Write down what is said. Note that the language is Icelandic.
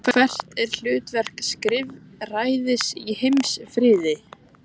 Og hvert er hlutverk skrifræðis í heimsfriði?